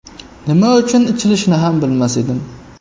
Nima uchun ichilishini ham bilmas edim.